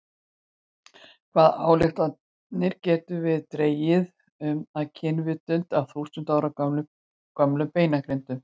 Hvaða ályktanir getum við dregið um og kynvitund af þúsund ára gömlum beinagrindum?